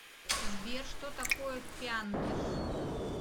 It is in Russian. сбер что такое пяндж